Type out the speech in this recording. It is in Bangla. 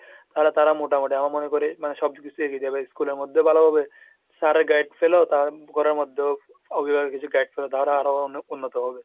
তাহলে তারা মোটামুটি মানে আমি মনে করি সবকিছু শিখে যাবে, মানে school এর মধ্যেও ভালো হবে, sirএর guide পেলেও তারা ঘরের মধ্যেও অভিভাবকরা কিছু guide পেল, তাহলে তারা আরো উন্নত হবে।